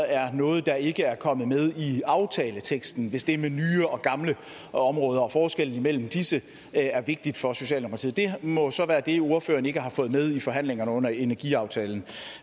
er noget der ikke er kommet med i aftaleteksten hvis det med nye og gamle områder og forskellen mellem disse er vigtigt for socialdemokratiet det må så være det ordføreren ikke har fået med i forhandlingerne om energiaftalen